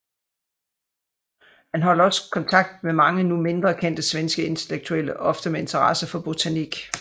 Han holdt også kontakt med mange nu mindre kendte svenske intellektuelle ofte med interesse for botanik